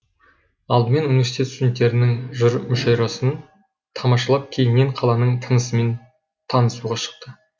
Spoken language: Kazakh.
алдымен университет студенттерінің жыр мүшайрасын тамашалап кейіннен қаланың тынысымен танысуға шықты